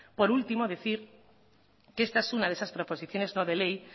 por último decir que esta es una de esas proposiciones no de ley